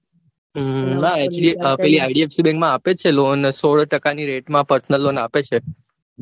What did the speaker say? હમ ના પેલી idfc bank માં આપે જ છે lone સોળ ટકાની પર્શનલ લોન આપે જ છે.